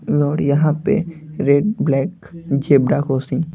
नोर यहां पे red black zebra crossing --